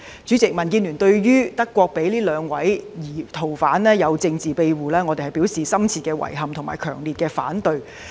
主席，對於德國向這兩名逃犯給予政治庇護，民建聯表示深切遺憾及強烈反對。